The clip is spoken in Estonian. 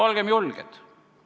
Olgem julged!